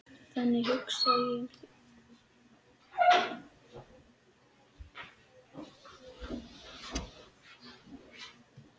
Þannig hugsaði ég um þig.